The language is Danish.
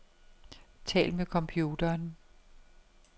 Tal med computeren.